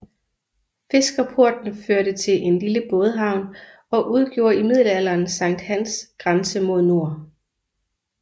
Fiskerporten førte til en lille bådehavn og udgjorde i middelalderen Sankt Hans grænse mod nord